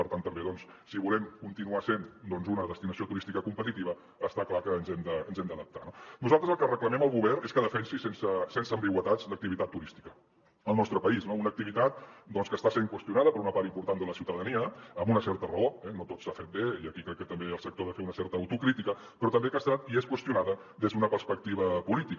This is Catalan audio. per tant també si volem continuar sent una destinació turística competitiva està clar que ens hem d’adaptar no nosaltres el que reclamem al govern és que defensi sense ambigüitats l’activitat turística al nostre país no una activitat que està sent qüestionada per una part important de la ciutadania amb una certa raó eh no tot s’ha fet bé i aquí crec que també el sector ha de fer una certa autocrítica però també que ha estat i és qüestionada des d’una perspectiva política